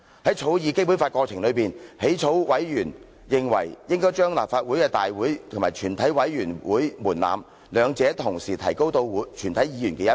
於草擬《基本法》過程當中，起草委員認為應該將立法會大會及全體委員會會議法定人數的門檻，兩者同時提高到全體議員的一半。